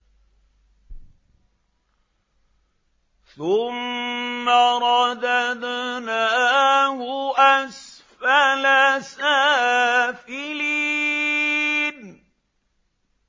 ثُمَّ رَدَدْنَاهُ أَسْفَلَ سَافِلِينَ